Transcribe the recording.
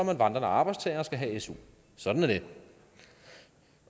man vandrende arbejdstager og skal have su sådan er det